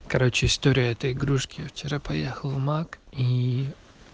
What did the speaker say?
короче история это игрушки вчера поехал в мак и